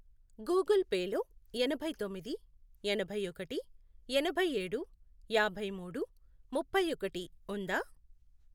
Google Pay లో ఎనభై తొమ్మిది, ఎనభై ఒకటి, ఎనభైఏడు, యాభై మూడు, ముప్పై ఒకటి, ఉందా?